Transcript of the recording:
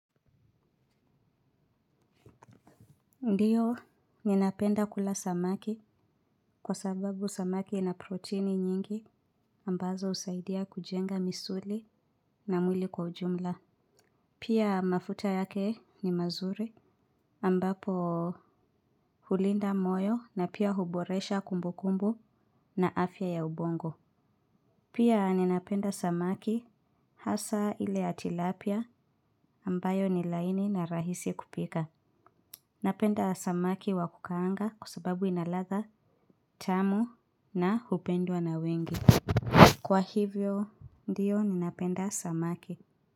Ndiyo ninapenda kula samaki kwa sababu samaki na proteini nyingi ambazo usaidia kujenga misuli na mwili kwa ujumla. Pia mafuta yake ni mazuri ambapo hulinda moyo na pia huboresha kumbukumbu na afya ya ubongo. Pia ninapenda samaki hasa ile ya tilapia ambayo ni laini na rahisi kupika. Napenda samaki wakukaanga kua sababu inalada tamu na hupendwa na wengi. Kwa hivyo ndiyo ninapenda samaki.